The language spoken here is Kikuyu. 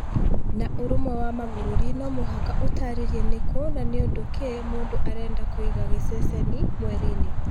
Na ũrũmwe wa mabũrũri no mũhaka ũtarĩrie nĩkũ na nĩũndũ kĩ mũndũ arenda kũiga gĩceceni mweri-inĩ